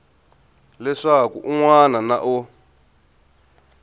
leswaku un wana na un